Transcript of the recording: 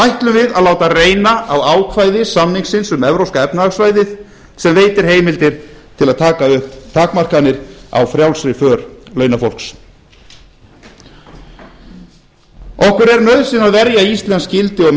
ætlum við að láta reyna á ákvæði samningsins um evrópska efnahagssvæðið sem veitir heimildir til að taka upp takmarkanir á frjálsri för launafólks okkur er nauðsyn að verja íslensk gildi og